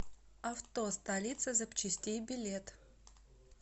авто столица запчастей билет